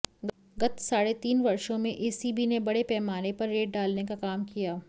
गत साढ़े तीन वर्षों में एसीबी ने बड़े पैमाने पर रेड डालने का काम किया